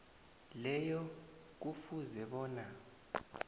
leyo kufuze bona